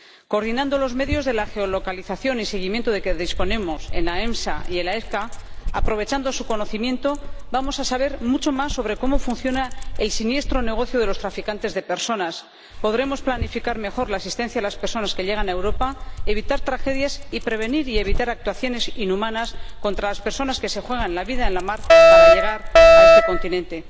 Coordinando los medios de geolocalización y seguimiento de que disponemos en la EMSA y en la EFCA, aprovechando su conocimiento, vamos a saber mucho más sobre cómo funciona el siniestro negocio de los traficantes de personas, podremos planificar mejor la asistencia a las personas que llegan a Europa, evitar tragedias y prevenir y evitar actuaciones inhumanas contra las personas que se juegan la vida en la mar para llegar a este continente.